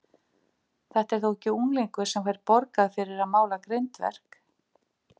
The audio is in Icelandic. Þetta er þó ekki unglingur sem fær borgað fyrir að mála grindverk?